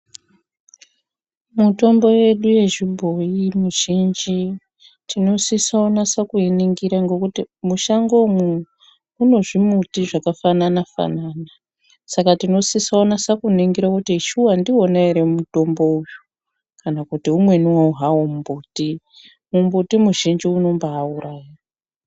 Mitombo yedu yechibhoyi mizhinji tinosisa kunatse kuiningira ngokuti mutango umu mune zvimuti zvakafanana banana saka tinosisa kunatse kuningira kuti shuwa ndiwona here mutombo uwu kana kuti umweni hawo mbuti mumbuti muzhinji unombayi uraya.